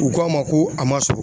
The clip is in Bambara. U ko an ma ko a ma sɔrɔ